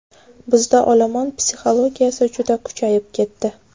Bizda olomon psixologiyasi juda kuchayib ketdi.